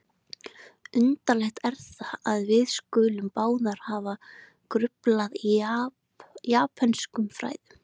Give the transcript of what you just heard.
Undarlegt er það, að við skulum báðir hafa gruflað í japönskum fræðum